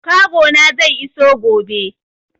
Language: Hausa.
Kago na zai iso gobe.